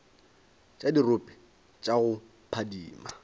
tša dirope tša go phadima